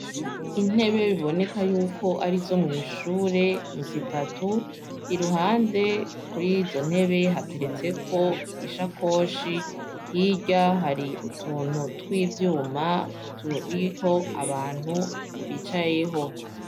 Intebe biboneka yuko ari zo mw'ishure ni zitatu i ruhande kuri izo ntebe hateretseko ishakoshi hirya hari utuntu tw'ivyuma turiko abantu bicayeho.